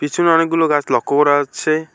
পিছনে অনেকগুলো গাছ লক্ষ্য করা যাচ্ছে।